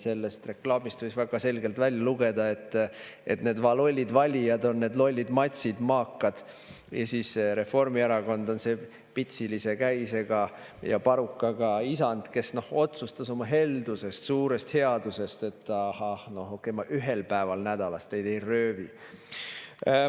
Sellest reklaamist võis väga selgelt välja lugeda, et need va lollid valijad on need lollid matsid, maakad, ja siis Reformierakond on see pitsilise käisega ja parukaga isand, kes otsustas oma heldusest, suurest headusest, et ahah, noh okei, ma ühel päeval nädalas teid ei röövi.